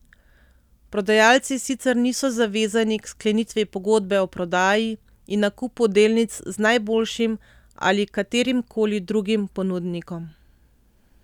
Prodajalci sicer niso zavezani k sklenitvi pogodbe o prodaji in nakupu delnic z najboljšim ali katerimkoli drugim ponudnikom.